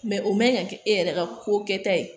Mɛ o man ka kɛ e yɛrɛ ka ko kɛta ye